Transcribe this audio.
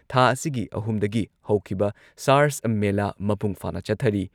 ꯊꯥ ꯑꯁꯤꯒꯤ ꯑꯍꯨꯝꯗꯒꯤ ꯍꯧꯈꯤꯕ ꯁꯥꯔꯁ ꯃꯦꯂꯥ ꯃꯄꯨꯡꯐꯥꯅ ꯆꯠꯊꯔꯤ